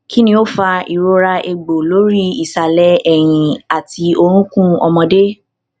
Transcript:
kini o fa irora egbo lori isale eyin ati orukun omode